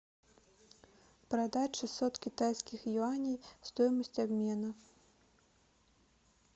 продать шестьсот китайских юаней стоимость обмена